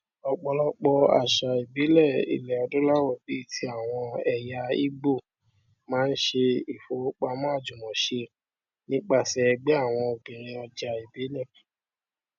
ọpọlọpọ àṣà ìbílẹ ilẹadúláwọ bíi ti àwọn ẹya ìgbò máa ń ṣe ìfowópamọ àjùmọṣe nípasẹ ẹgbẹ àwọn obìnrin ọjà ìbílẹ